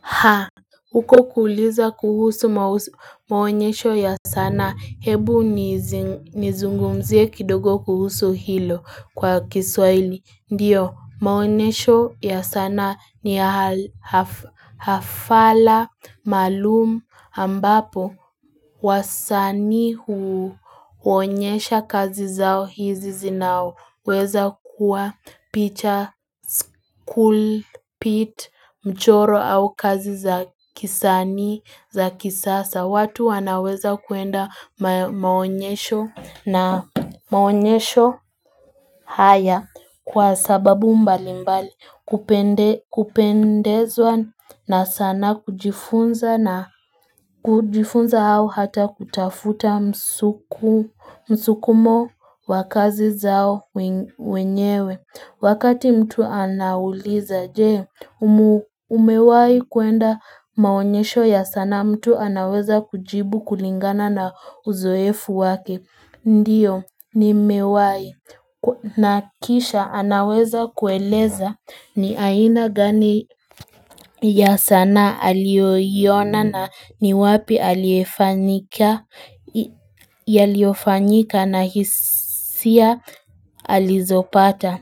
Ha, huko kuuliza kuhusu maonyesho ya sanaa. Hebu nizungumzie kidogo kuhusu hilo kwa kiswahili. Ndiyo, maonyesho ya sana ni hafala malum ambapo. Wasani huonyesha kazi zao hizi zinao weza kuwa picha school pit mchoro au kazi za kisani za kisasa watu wanaweza kuenda maonyesho na maonyesho haya Kwa sababu mbali mbali kupendezwa na sanaa kujifunza na kujifunza au hata kutafuta msukumo wakazi zao wenyewe Wakati mtu anauliza je umewai kuenda maonyesho ya sanaa mtu anaweza kujibu kulingana na uzoefu wake Ndiyo ni mewai na kisha anaweza kueleza ni aina gani ya sanaa alioyoiona na ni wapi yaliyofanyika na hisia alizopata.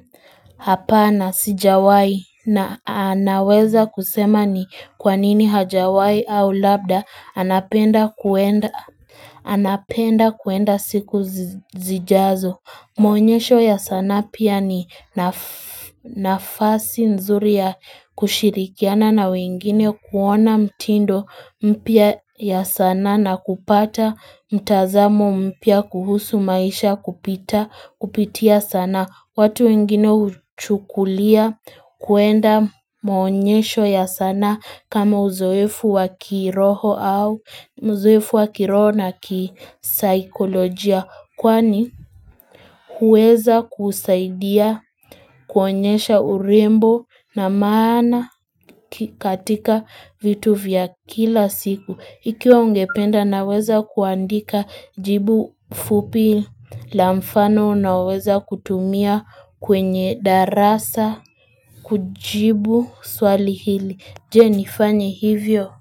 Hapana sijawai na anaweza kusema ni kwanini hajawai au labda anapenda kuenda siku zijazo. Maonyesho ya sana pia ni nafasi nzuri ya kushirikiana na wengine kuona mtindo mpya ya sana na kupata mtazamo mpya kuhusu maisha kupita kupitia sanaa. Watu wengine uchukulia kuenda maonyesho ya sanaa kama uzoefu wa kiroho na kisaikolojia. Kwani huweza kusaidia kuonyesha urembo na maana katika vitu vya kila siku. Ikiwa ungependa naweza kuandika jibu fupi la mfano naweza kutumia kwenye darasa kujibu swali hili. Je nifanyi hivyo.